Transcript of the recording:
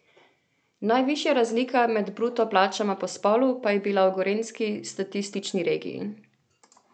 Najvišja razlika med bruto plačama po spolu pa je bila v gorenjski statistični regiji.